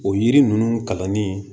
O yiri ninnu kalanni